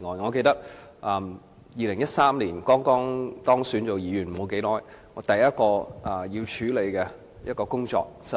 我記得在2013年，我當選成為立法會議員不久，第一項要處理的工作，就是